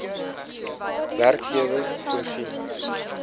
werkgewer voorsien